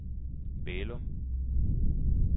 Bælum